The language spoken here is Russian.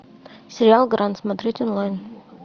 сериал гранд смотреть онлайн